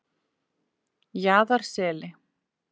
Jaðarseli